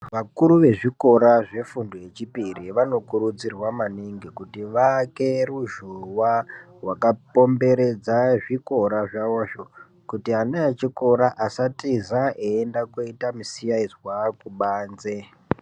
Vakuru ve zvikora zvefundo ye chipiri vano kurudzirwa maningi kuti vaake ruzhowa rwaka komberedza zvikora zvavozvo kuti ana echikora asa tiza eyi enda koita mu siyaizwa kubanze.